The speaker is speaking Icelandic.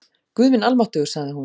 Guð minn almáttugur sagði hún.